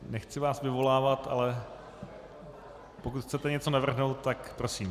Nechci vás vyvolávat, ale pokud chcete něco navrhnout, tak prosím.